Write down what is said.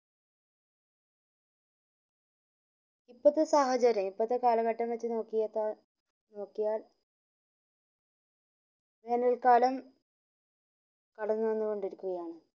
ഇപ്പത്തെ സാഹചര്യ ഇപ്പത്തെ കാലഘട്ടം വെച് നോക്കിയേക്കാൾ നിക്കോയാൽ വേനൽ കാലം നടന്ന് വന്ന് കൊംടിരിക്കുകയാണ്